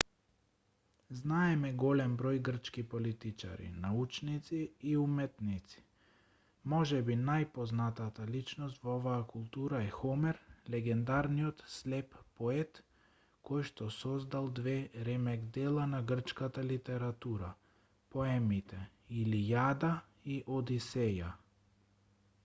знаеме голем број грчки политичари научници и уметници можеби најпознатата личност во оваа култура е хомер легендарниот слеп поет којшто создал две ремек-дела на грчката литература поемите илијада и одисеја